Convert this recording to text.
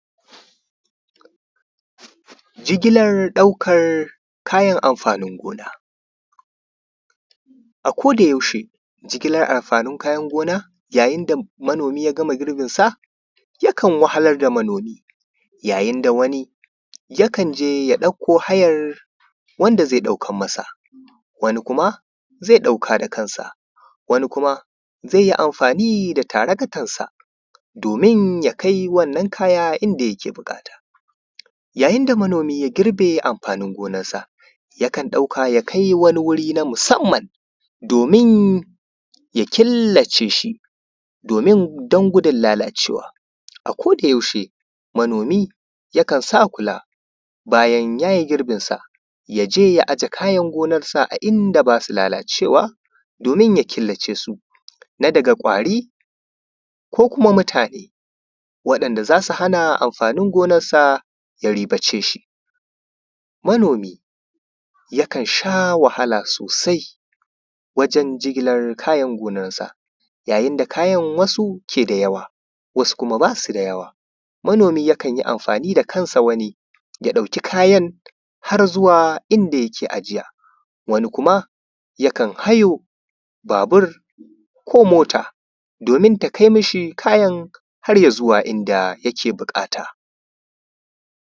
jigilar ɗaukan kayan amfanin gona a koda yaushe jigilar amfanin kayan gona yayin da manomi ya gama girbin sa yakan wahalar da manomi yayin da wani yakan je ya ɗauko hayar wanda zai ɗaukar masa wani kuma zai ɗauka da kansa wani kuma zai yi amfani da traktan sa domin ya kai wannan kaya inda yake buƙata yayin da manomi ya girbe amfanin gonan sa yakan ɗauka ya kai wani wuri na musamman domin ya killace shi domin don gudun lalacewa a koda yaushe manomi yakan sakula bayan yayi girbin sa yaje ya aje kayan gonar sa ta inda basu lalacewa domin ya killace suna daga ƙwari ko kuma mutane da zasu hana amfanin gonar sa ya riba ce shi manomi yakan sha wahala sosai wajen jigilar kayan gonar sa yayin da kayan wasu ke da yawa wasu kuma basu da yawa manomi yakan yi amfani da kan sa wani ya ɗauki kayan har zuwa inda yake ajiya wani kuma yakan hayo babur ko mota domin ta kai mishi kayan har ya zuwa inda yake buƙata